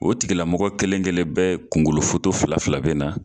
O tigilamɔgɔ kelen-kelen bɛɛ kunkolofoto fila fila na